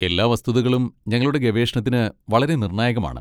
എല്ലാ വസ്തുതകളും ഞങ്ങളുടെ ഗവേഷണത്തിന് വളരെ നിർണായകമാണ്.